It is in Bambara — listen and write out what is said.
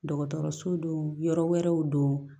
Dɔgɔtɔrɔso don yɔrɔ wɛrɛw don